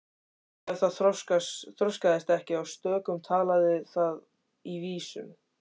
Ef það þroskaðist ekki í stökkum talaði það í vísum.